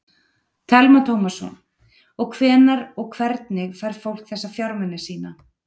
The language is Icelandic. Telma Tómasson: Og hvenær og hvernig fær fólk þessa fjármuni sína?